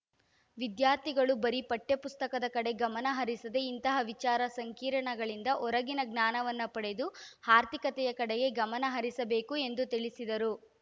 ವಿದ್ಯಾರ್ಥಿಗಳು ಬರೀ ಪಠ್ಯಪುಸ್ತಕದ ಕಡೆ ಗಮನಹರಿಸದೇ ಇಂತಹ ವಿಚಾರ ಸಂಕಿರಣಗಳಿಂದ ಹೊರಗಿನ ಜ್ಞಾನವನ್ನು ಪಡೆದು ಆರ್ಥಿಕತೆಯ ಕಡೆಗೆ ಗಮನಹರಿಸಬೇಕು ಎಂದು ತಿಳಿಸಿದರು